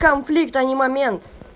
конфликт а не момент